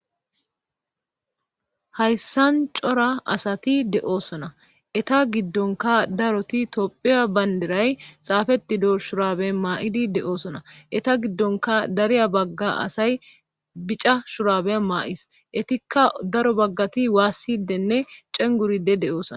hayssan cora asati de7oosona eta giddonka daroti tophiya baynderay xaafetido shurabe maa7idi de7oosona eta giddonka dariya bagga asay bica shurabe maa7is etikka daro baggati waassidenne cenguride de7oosona